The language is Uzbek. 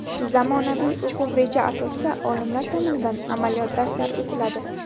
Zamonaviy o‘quv reja asosida olimlar tomonidan amaliyot darslari o‘tiladi.